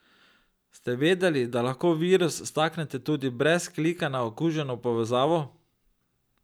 Ste vedeli, da lahko virus staknete tudi brez klika na okuženo povezavo?